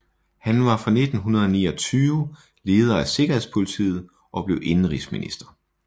Han var fra 1929 leder af sikkerhedspolitiet og blev indenrigsminister